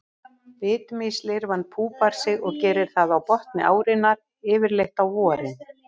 Bitmýslirfan púpar sig og gerir það á botni árinnar, yfirleitt á vorin.